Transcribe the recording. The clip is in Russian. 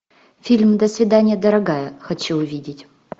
фильм до свидания дорогая хочу увидеть